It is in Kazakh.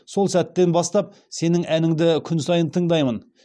сол сәттен бастап сенің әніңді күн сайын тыңдаймын